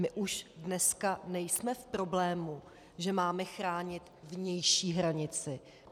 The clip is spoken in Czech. My už dneska nejsme v problému, že máme chránit vnější hranici.